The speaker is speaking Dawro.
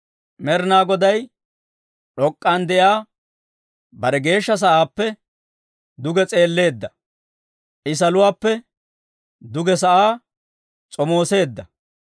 Med'inaa Goday d'ok'k'an de'iyaa bare geeshsha sa'aappe duge s'eelleedda; I saluwaappe duge sa'aa s'omooseedda.